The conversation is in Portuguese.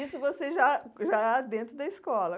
E isso você já já dentro da escola.